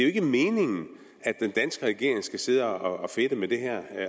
ikke meningen at den danske regering skal sidde og fedte med det her